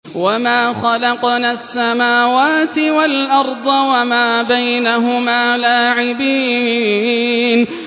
وَمَا خَلَقْنَا السَّمَاوَاتِ وَالْأَرْضَ وَمَا بَيْنَهُمَا لَاعِبِينَ